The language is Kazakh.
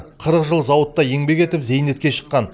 қырық жыл зауытта еңбек етіп зейнетке шыққан